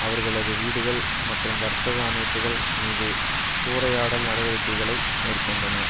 அவர்களது வீடுகள் மற்றும் வர்த்தக அமைப்புகள் மீது சூறையாடல் நடவடிக்கைகளை மேற்கொண்டன